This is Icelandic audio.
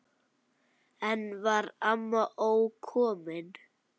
Enn var amma ókomin.